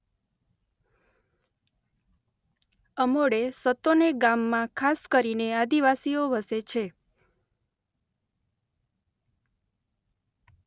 અમોડે સતોને ગામમાં ખાસ કરીને આદિવાસીઓ વસે છે.